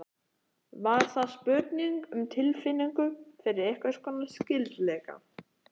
Var það spurning um tilfinningu fyrir einhvers konar skyldleika?